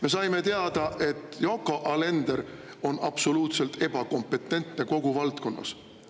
Me saime teada, et Yoko Alender on absoluutselt ebakompetentne kogu valdkonnas.